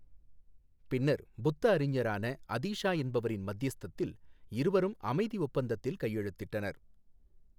பின்னர் புத்த அறிஞரான அதீஷா என்பவரின் மத்தியஸ்தத்தில் இருவரும் அமைதி ஒப்பந்தத்தில் கையெழுத்திட்டனர்.